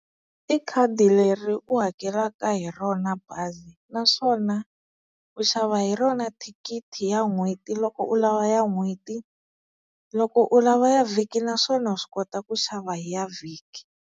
I khadi leri u hakelaka hi rona bazi, naswona u xava hi rona thikithi ya n'hweti loko u lava ya n'hweti, loko u lava ya vhiki naswona wa swi kota ku xava hi ya vhiki.